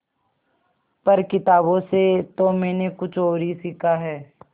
पर किताबों से तो मैंने कुछ और ही सीखा है